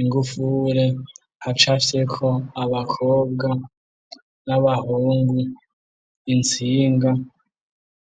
ingufure, hacafyeko abakobwa n'abahungu, intsinga.